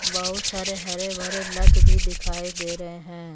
बहुत सारे हरे भरे लत भी दिखाई दे रहे हैं।